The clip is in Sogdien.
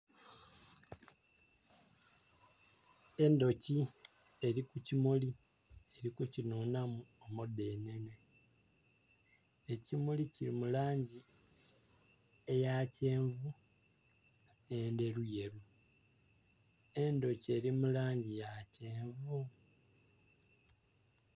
Endhoki eli ku kimuli eli kukinhunhamu omudhenhenhe. Ekimuli kili mu langi eya kyenvu nh'endheruyeru. Endhoki eli mu langi ya kyenvu.